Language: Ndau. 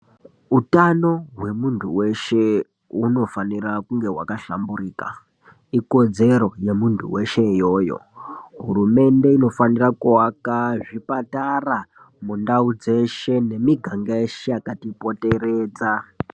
Utanho hwemundu weshe huno fanira kunge hwaka shamburika ikodzero yemundu weshe iyoyo hurumende inofanira kuwaka zvipatara mundau dzeshe ne mugaga yeshe yakati poteredza.